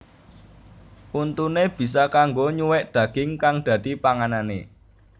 Untuné bisa kanggo nyuwèk daging kang dadi panganané